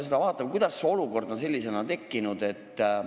Vaatame, kuidas see olukord on tekkinud.